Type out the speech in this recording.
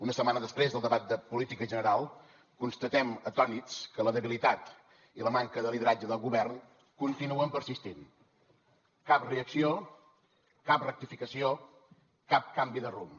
una setmana després del debat de política general constatem atònits que la debilitat i la manca de lideratge del govern continuen persistint cap reacció cap rectificació cap canvi de rumb